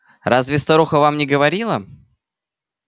разве старуха вам не говорила